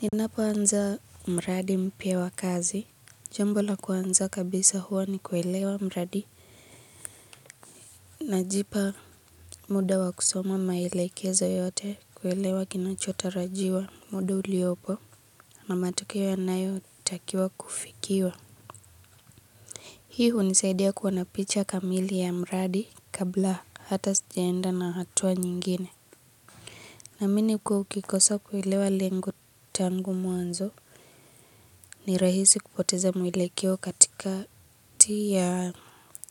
Ninapo anza mradi mpya wa kazi. Jambo la kwanza kabisa huwa ni kuelewa mradi. Najipa muda wa kusoma maelekeza yote kuelewa kinachotarajiwa muda uliopo na matokeo yanayo takiwa kufikiwa. Hi unisaidia kuwanapicha kamili ya mradi kabla hata sijaenda na hatua nyingine. Naamini ukikosa kuilewa lengo tangu mwanzo ni rahisi kupoteza mwelekeo katika ti ya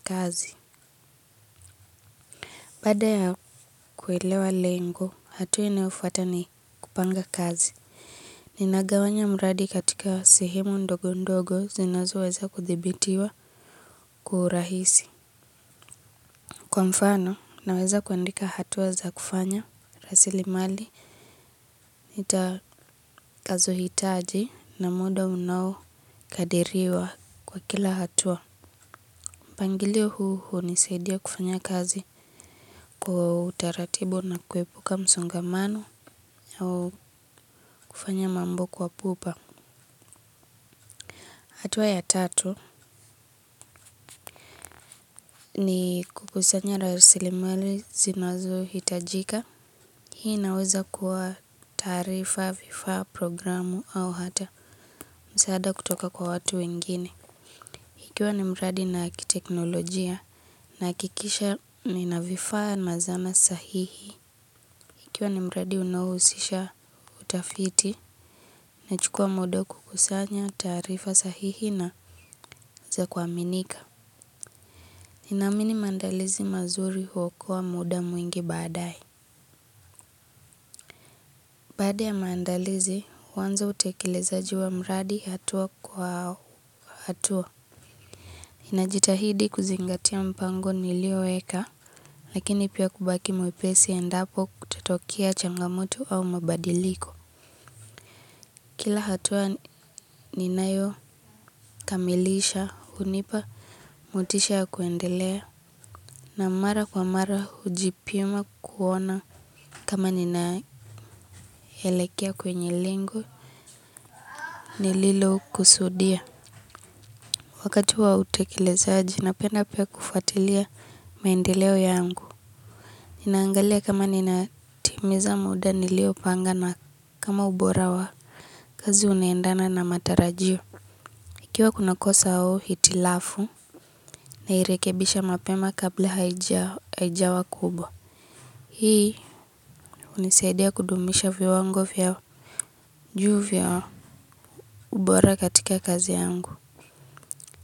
kazi. Baada ya kuilewa lengo, hatua inayofuata ni kupanga kazi. Ninagawanya mradi katika sehemu ndogo ndogo zinazo weza kuthibitiwa kwa urahisi. Kwa mfano, naweza kuandika hatua za kufanya, rasili mali, nitakazo hitaji na muda unao kadiriwa kwa kila hatua. Pangilio huu huu nisaidia kufanya kazi kwa utaratibu na kuepuka msungamano au kufanya mambo kwa pupa. Hatuwa ya tatu ni kukusanya rasili mali zinazo hitajika. Hii naweza kuwa taarifa, vifaa, programu au hata. Msaada kutoka kwa watu wengine. Ikiwa ni mradi na akiteknolojia na akikisha ni navifaa na zana sahihi. Ikiwa ni mradi unaohusisha utafiti na chukua muda kukusanya taarifa sahihi na za kuaminika. Naamini mandalizi mazuri huokoa muda mwingi baadae. Baada ya mandalizi, huwanza utekilezaji wa mradi hatua kwa hatua. Inajitahidi kuzingatia mpango nilio weka. Lakini pia kubaki mwepesi endapo kutatokea changamoto au mabadiliko. Kila hatua ninayo kamilisha unipa motisha ya kuendelea. Na mara kwa mara hujipima kuona kama ninaelekea kwenye lengo nililo kusudia. Wakati wa utekelezaji napenda pia kufatilia maendeleo yangu. Ninaangalia kama ninatimiza muda nilio panga na kama ubora wa kazi unaendana na matarajio. Ikiwa kuna kosa au hitilafu nairekebisha mapema kabla haijawa kubwa. Hii unisaidia kudumisha viwango vya juu vya ubora katika kazi yangu.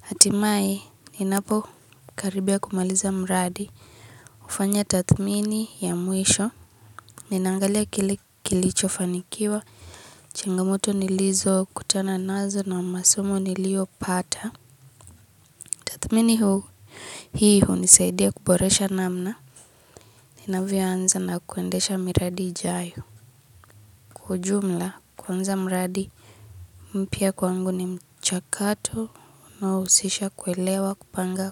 Hatimae ninapo karibia kumaliza mradi ufanya tathmini ya mwisho. Ninaangalia kilicho fanikiwa changamoto nilizo kutana nazo na masomo niliopata. Kathmini huu. Hii hunisaidia kuboresha namna inavyo anza na kuendesha miradi ijayo. Kwa ujumla kwanza miradi mpya kwangu ni mchakato unaousisha kuelewa kupanga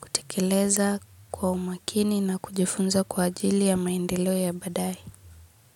kutekileza kwa umakini na kujifunza kwa ajili ya maendeleo ya badae.